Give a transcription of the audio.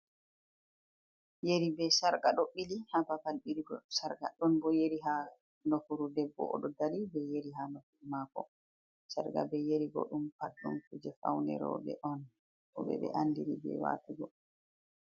Yeri be sharqa ɗo ɓili ha babal ɓirigo sharqa ɗon bo yeri ha nofuru debbo odo dari be yeri ha nofuru mako sharqa be yeri bo ɗum pat ɗum kuja faune roɓɓe on roɓɓe ɓe andini be watugo.